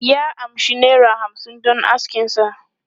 Ya amshi naira hamsin don askin sa.